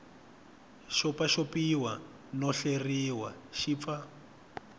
xopaxopiwa no hleriwa xi pfa